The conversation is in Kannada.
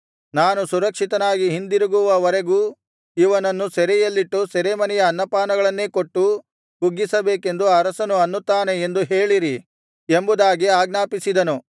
ನಾನು ಸುರಕ್ಷಿತನಾಗಿ ಹಿಂದಿರುಗುವವರೆಗೂ ಇವನನ್ನು ಸೆರೆಯಲ್ಲಿಟ್ಟು ಸೆರೆಮನೆಯ ಅನ್ನಪಾನಗಳನ್ನೇ ಕೊಟ್ಟು ಕುಗ್ಗಿಸಬೇಕೆಂದು ಅರಸನು ಅನ್ನುತ್ತಾನೆ ಎಂದು ಹೇಳಿರಿ ಎಂಬುದಾಗಿ ಆಜ್ಞಾಪಿಸಿದನು